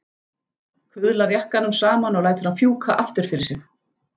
Kuðlar jakkanum saman og lætur hann fjúka aftur fyrir sig.